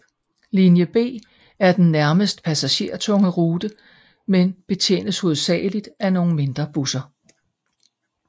Linje B er den næstmest Passagertunge rute men betjenes hovedsageligt af noget mindre busser